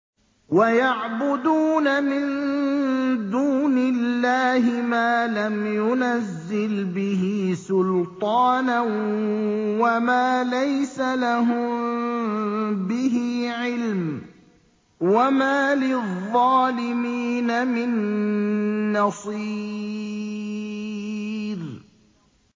وَيَعْبُدُونَ مِن دُونِ اللَّهِ مَا لَمْ يُنَزِّلْ بِهِ سُلْطَانًا وَمَا لَيْسَ لَهُم بِهِ عِلْمٌ ۗ وَمَا لِلظَّالِمِينَ مِن نَّصِيرٍ